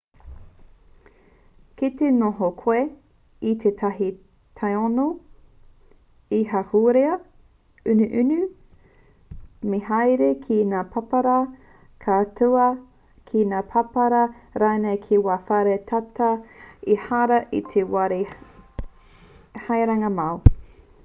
kite noho koe i tētahi tāone he ahurea inuinu me haere ki ngā pāpara kāuta ki ngā pāpara rānei kei ngā whare tata ehara i te wāhi haerenga māu